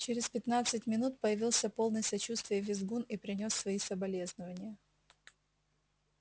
через пятнадцать минут появился полный сочувствия визгун и принёс свои соболезнования